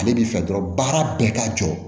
Ale b'i fɛ dɔrɔn baara bɛɛ ka jɔ